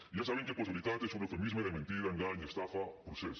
ja saben que postveritat és un eufemisme de mentida engany estafa procés